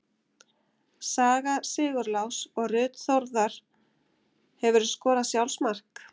Sara Sigurlás og Ruth Þórðar Hefurðu skorað sjálfsmark?